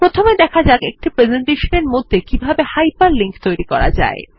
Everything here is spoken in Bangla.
প্রথমে দেখা যাক একটি প্রেসেন্টেশনের মধ্যে কিভাবে হাইপার লিঙ্ক করা যায়